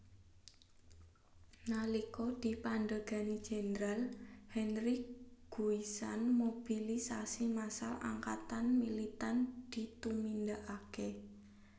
Nalika dipandhegani Jenderal Henri Guisan mobilisasi massal angkatan militan ditumindakake